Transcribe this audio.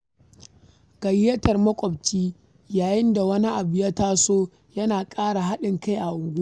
Gayyatar maƙwabci yayin da wani abu ya taso yana ƙara haɗin kai a unguwa.